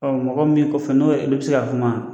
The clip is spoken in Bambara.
Ɔn mɔgɔ min kɔfɛ n'o yɛ, i be se ka kuma ?